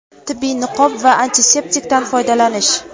tibbiy niqob va antiseptikdan foydalanish.